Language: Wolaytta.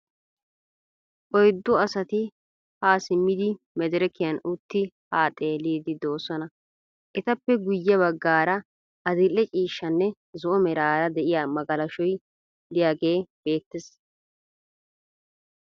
Oyiddu asati haa simmidi medirekiyan uttidi haa xelliiddi doosona. Etappe guyye baggaara adil'e ciishshanne zo'o meraara de'iya magalashoy diyagee beettes.